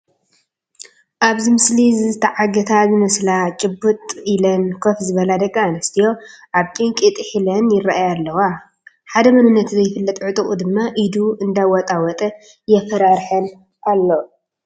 ኣብዚ ምስሊ ዝተዓገታ ዝመስላ ጭብጥ ኢለን ኮፍ ዝበላ ደቂ ኣንስትዮ ኣብ ጭንቂ ጥሒለን ይርአያ ኣለዋ፡፡ ሓደ መንነቱ ዘይፍለጥ ዕጡቕ ድማ ኢዱ እንዳወጣወጠ የፈራርሓን ኣሎ፡፡